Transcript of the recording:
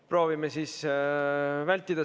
Proovime seda vältida.